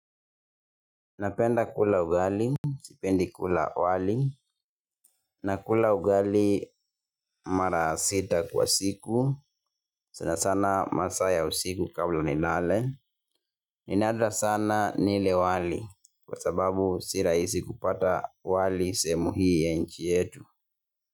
Napenda kula ugali, sipendi kula wali, na kula ugali mara sita kwa siku, sana sana masaa ya usiku kabla nilale, ninadra sana nile wali kwa sababu sirahisi kupata wali sehemu hii ya nchi yetu.